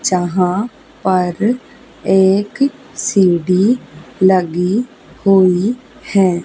जहां पर एक सीढ़ी लगी हुई है।